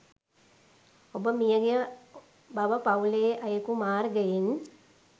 ඔබ මියගිය බව පවුලේ අයෙකු මාර්ගයෙන්